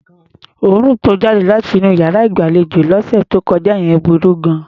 Òórùn tó jáde láti inú iyàrá ìgbàlejò yẹn lọ́sẹ̀ tó kọjá yẹn burú gan-an.